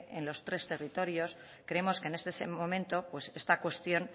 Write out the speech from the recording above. en los tres territorios creemos que en este momento pues esta cuestión